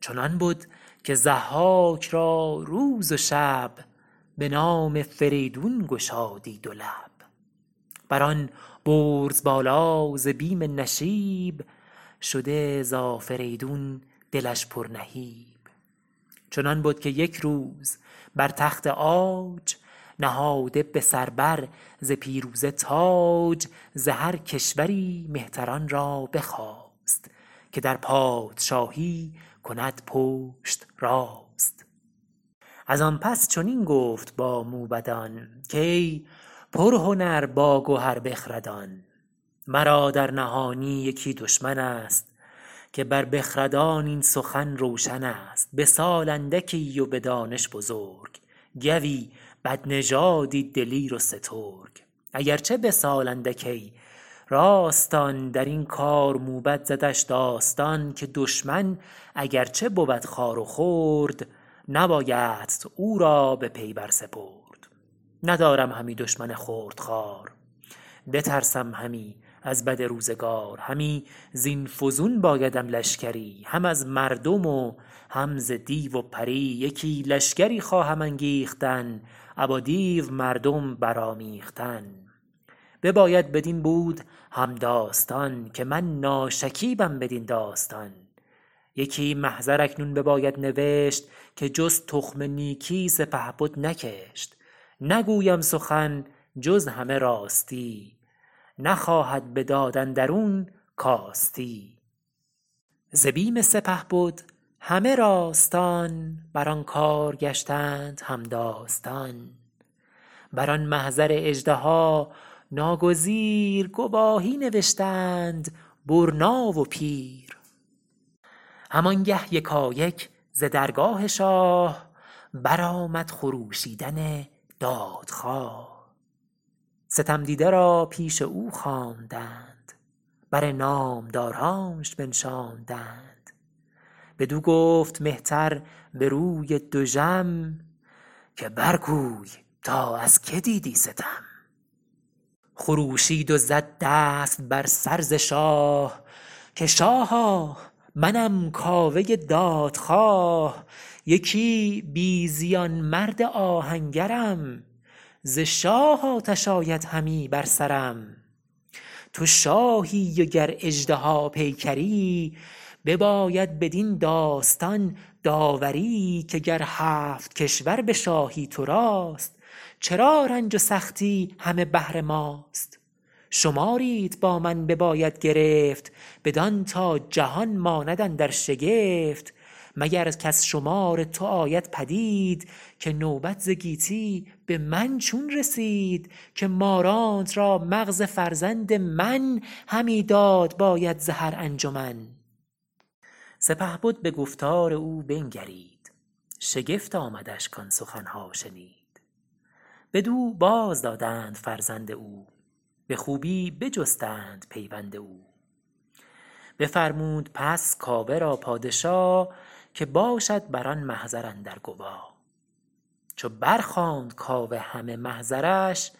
چنان بد که ضحاک را روز و شب به نام فریدون گشادی دو لب بر آن برز بالا ز بیم نشیب شده ز آفریدون دلش پر نهیب چنان بد که یک روز بر تخت عاج نهاده به سر بر ز پیروزه تاج ز هر کشوری مهتران را بخواست که در پادشاهی کند پشت راست از آن پس چنین گفت با موبدان که ای پرهنر باگهر بخردان مرا در نهانی یکی دشمن ست که بر بخردان این سخن روشن است به سال اندکی و به دانش بزرگ گوی بدنژادی دلیر و سترگ اگر چه به سال اندک ای راستان درین کار موبد زدش داستان که دشمن اگر چه بود خوار و خرد نبایدت او را به پی بر سپرد ندارم همی دشمن خرد خوار بترسم همی از بد روزگار همی زین فزون بایدم لشکری هم از مردم و هم ز دیو و پری یکی لشگری خواهم انگیختن ابا دیو مردم برآمیختن بباید بدین بود هم داستان که من ناشکیبم بدین داستان یکی محضر اکنون بباید نوشت که جز تخم نیکی سپهبد نکشت نگوید سخن جز همه راستی نخواهد به داد اندرون کاستی ز بیم سپهبد همه راستان بر آن کار گشتند هم داستان بر آن محضر اژدها ناگزیر گواهی نوشتند برنا و پیر هم آنگه یکایک ز درگاه شاه برآمد خروشیدن دادخواه ستم دیده را پیش او خواندند بر نامدارانش بنشاندند بدو گفت مهتر به روی دژم که بر گوی تا از که دیدی ستم خروشید و زد دست بر سر ز شاه که شاها منم کاوه دادخواه یکی بی زیان مرد آهنگرم ز شاه آتش آید همی بر سرم تو شاهی و گر اژدها پیکری بباید بدین داستان داوری که گر هفت کشور به شاهی تو راست چرا رنج و سختی همه بهر ماست شماریت با من بباید گرفت بدان تا جهان ماند اندر شگفت مگر کز شمار تو آید پدید که نوبت ز گیتی به من چون رسید که مارانت را مغز فرزند من همی داد باید ز هر انجمن سپهبد به گفتار او بنگرید شگفت آمدش کآن سخن ها شنید بدو باز دادند فرزند او به خوبی بجستند پیوند او بفرمود پس کاوه را پادشا که باشد بران محضر اندر گوا چو بر خواند کاوه همه محضرش